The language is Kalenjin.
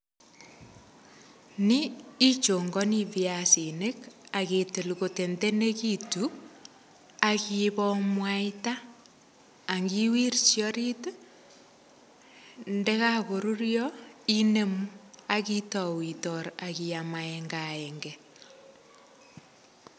Ni ichongani viasinik, akitil kotendenekitu, akobo mwaita, akiwirchi orit. Ndekakorurio, inemu akitau itor, akiam agenge agenge.